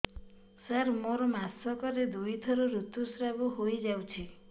ସାର ମୋର ମାସକରେ ଦୁଇଥର ଋତୁସ୍ରାବ ହୋଇଯାଉଛି